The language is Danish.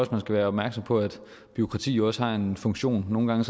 man skal være opmærksom på at bureaukrati jo også har en funktion nogle gange